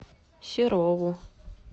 серову